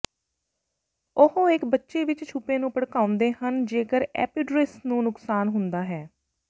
ਉਹ ਇੱਕ ਬੱਚੇ ਵਿੱਚ ਛਿਪੇ ਨੂੰ ਭੜਕਾਉਂਦੇ ਹਨ ਜੇਕਰ ਏਪੀਡਰਿਸ ਨੂੰ ਨੁਕਸਾਨ ਹੁੰਦਾ ਹੈ